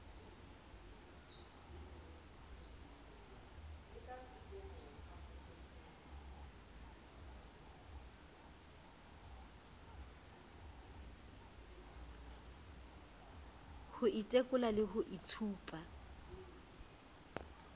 ho itekola le ho itshupa